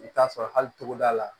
I bɛ t'a sɔrɔ hali togoda la